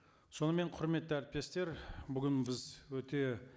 сонымен құрметті әріптестер бүгін біз өте